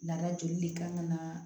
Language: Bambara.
Lada joli le kan ka na